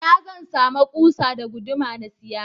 Ina zan sama kusa da guduma na siya?